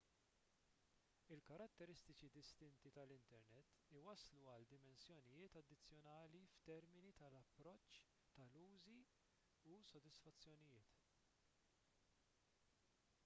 il-karatteristiċi distinti tal-internet iwasslu għal dimensjonijiet addizzjonali f'termini tal-approċċ tal-użi u s-sodisfazzjonijiet